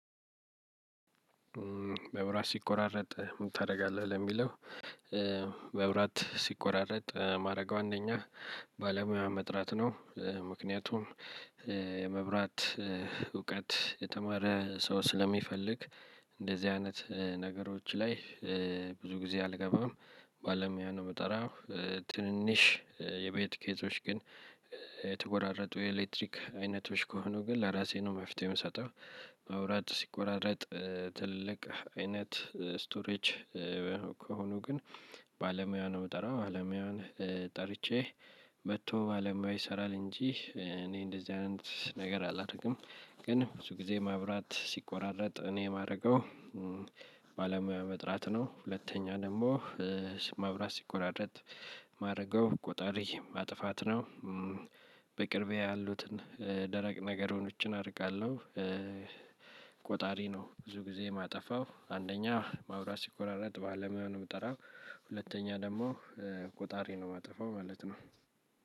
መብራት ሲቆራረጥ ምን ታደርጋለህ ለሚለው? መብራት ሲቆራረጥ የማደርገው አንደኛ ባለሙያ መጥራት ነው ምክንያቱም የመብራት እውቀት የተማረ ሰው ስለሚፈልግ እንደዚህ አይነት ነገሮች ላይ ብዙ ጊዜ አልገባም ባለሙያ ነው የምጠራው። ትንንሽ የቤት ኬዞች ግን የተቆራረጡ የኤሌክትሪክ አይነቶች ከሆኑ ግን ለራሴ ነው መፍትሄ የምሰጠው። መብራት ሲቆራረጥ ትልልቅ አይነት ስቶሬጅ ከሆኑ ግን ባለሙያ ነው የምጠራው ባለሙያውን ጠርቼ መጥቶ ባለሙያው ይሰራል እንጂ እኔ እንደዚህ አይነት ነገር አላደርግም። ግን ብዙ ጊዜ መብራት ሲቆራረጥ እኔ የማደርገው ባለሙያ መጥራት ነው። ሁለተኛ ደግሞ መብራት ሲቆራረጥ የማድረገው ቆጣሪ ማጥፋት ነው። በቅርቤ ያሉትን ደረቅ ነገሮችን አርቃለሁ። ቆጣሪ ነው ብዙ ጊዜ የማጠፋው አንደኛ መብራት ሲቆራረጥ ባለሙያ ነው የምጠራው። ሁለተኛ ደግሞ ቆጣሪ ነው የማጠፋው ማለት ነው።